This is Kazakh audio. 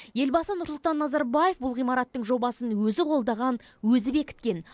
елбасы нұрсұлтан назарбаев бұл ғимараттың жобасын өзі қолдаған өзі бекіткен